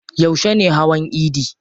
Yauce ne hawan idi?